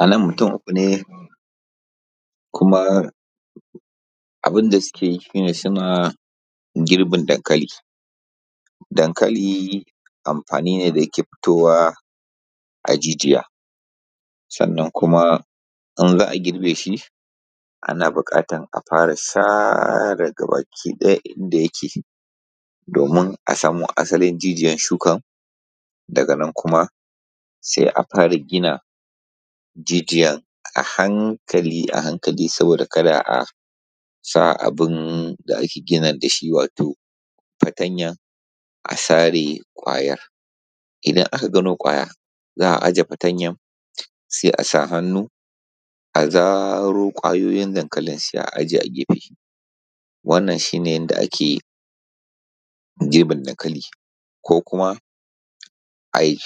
A nan mutum uku ne kuma abun da suke, abin da suke yi shi ne suna girbin dankalin. Dankali amfani ne da yake dotowa a jijiya. Sannan kuma idan za a girbe shi ana buƙatar a sare gaba ɗaya ganyayyaki domin a samu a tarar da jijiyar shukar, daga nan kuma sai a fara gina jijiyar a hankali a hankali saboda ka da a sa abun da ake guna da shi a sare ƙwayar. Idan aka gano ƙwayar za a ajiye fatanyar sai a sa hannu a zaro ƙwayoyin dankalin sai a ajiye a gefe. Wannan shi ne yadda ake girbin danakali ko kuma a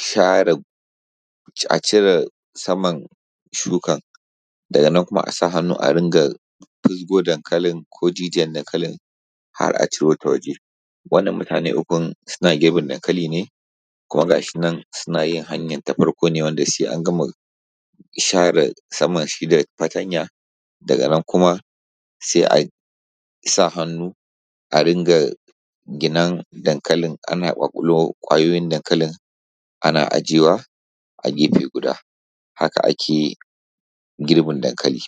core saman shuka daga nan kuma a sa hannu a fisgo dankalin ko jijiyar dankali har a ciro ta waje. Wannan mutane ukun suna girbin dankali kuma ga shi nan suna yin hanyar ta farko ne suna share saman shi da fatanya, daga nan kuma a sa hannu a rikga ginar dankali ko kwayonin dankali ana ajiyewa a gefe guda haka ake yi girbin dankalin.